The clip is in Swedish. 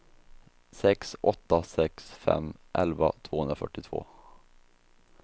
sex åtta sex fem elva tvåhundrafyrtiotvå